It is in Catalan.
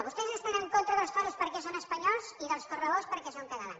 vostès estan en contra dels toros perquè són espanyols i dels correbous perquè són catalans